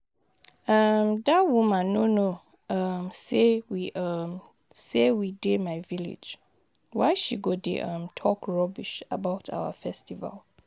um Dat woman no know um say we um say we dey my village. Why she go dey um talk rubbish about our festival